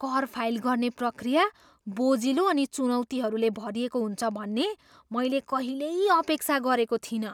कर फाइल गर्ने प्रक्रिया बोझिलो अनि चुनौतीहरूले भरिएको हुन्छ भन्ने मैले कहिल्यै अपेक्षा गरेको थिइनँ।